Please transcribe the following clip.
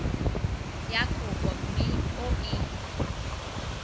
ya kopo mme o e